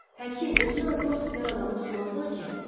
Həkim, özünü asmaq istəyən adamı tutmazlar ki?